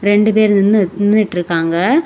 ரெண்டு பேரு நின்னு நின்னுட்டு இருக்காங்க.